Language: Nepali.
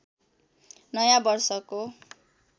नयाँ वर्षको